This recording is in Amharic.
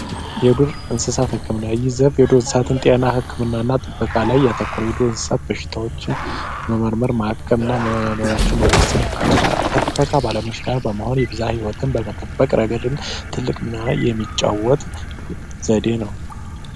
የዱር እንስሳት ሕክምና ይዘትና ዱር እንስሳትን ጤና እና ጥበቃ ላይ ያተኮረ የዱር እንስሳት በሽታዎችን መመርመር ማከምና መኖራቸው መወሰን ያካትታል። ከጥበቃ ባለሙያዎች ጋር በመሆን የብዝሃ ህይወትን በመጠበቅ ረገድም ትልቅ ሚና የሚጫወት ዘዴ ነው።